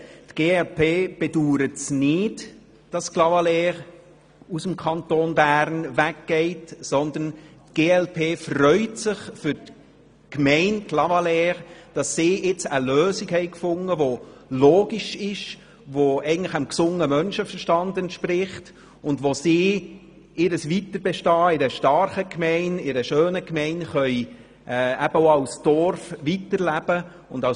Die glp-Fraktion bedauert es nicht, dass Clavaleyres aus dem Kanton Bern weggeht, sondern sie freut sich für die Gemeinde Clavaleyres , dass diese nun eine Lösung gefunden hat, die logisch ist, dem gesunden Menschenverstand entspricht und bei der sie ihr weiteres Bestehen in einer starken Gemeinde und schönen Gemeinde auch als Dorfgemeinschaft weiterleben kann.